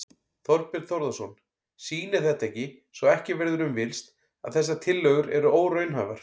Þorbjörn Þórðarson: Sýnir þetta ekki, svo ekki verður um villst, að þessar tillögur eru óraunhæfar?